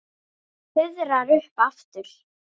Fuðrar upp aftur.